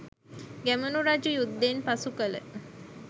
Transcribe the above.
ගැමුණු රජු යුද්ධෙන් පසු කල